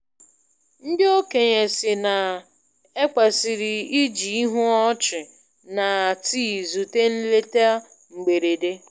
Ndị okenye sị na- ekwesịrị i ji ihu ọchị na tii zute nleta mgberede.